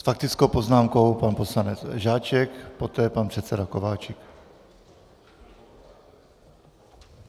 S faktickou poznámkou pan poslanec Žáček, poté pan předseda Kováčik.